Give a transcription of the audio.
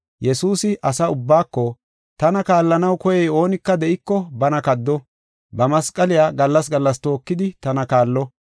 Yesuusi asaa ubbaako, “Tana kaallanaw koyey oonika de7iko bana kaddo, ba masqaliya gallas gallas tookidi tana kaallo.